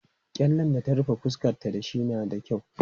Gyallen da ta rufe fuskanta da shi na da kyau.